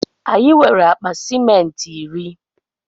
Anyi nwere akpa ciment iri